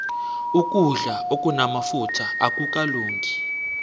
ukudlo okunamafutha akukalungi